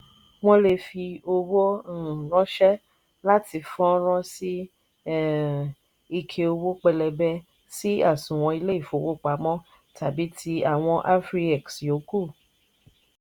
wọn lè fi owó um ránṣẹ́ láti fọ́nrán sí um ike owó pẹlẹbẹ sí àsùnwọ̀n ilé ìfowópamọ́ tàbí ti àwọn afriex yòókù.